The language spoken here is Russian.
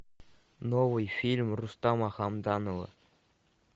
новый фильм рустама хамдамова